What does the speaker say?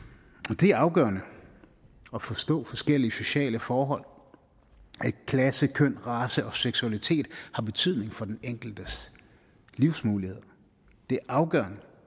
og det er afgørende at forstå forskellige sociale forhold at klasse køn race og seksualitet har betydning for den enkeltes livsmuligheder det er afgørende